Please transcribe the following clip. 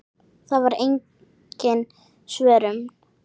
Það var engin svörun.